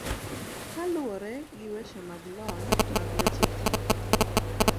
Kaluwore gi weche mag lony mag weche thieth.